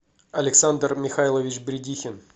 александр михайлович бредихин